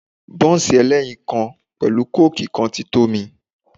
Bọ́ǹsì ẹlẹ́yin kan pẹ̀lú kóòkì kan ti tó mi.